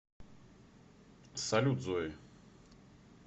салют зои